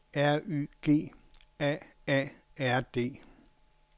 R Y G A A R D